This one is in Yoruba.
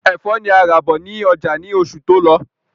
Ẹfọ́ ni a rà bọ̀ ní ọjà ni oṣù tó lọ